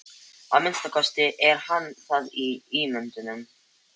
Að minnsta kosti er hann það í myndunum.